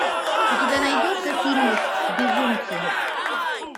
у тебя найдется фильмик безумцы